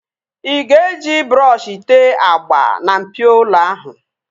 Ị ga-eji brọọshi tee agba na mpio ụlọ ahụ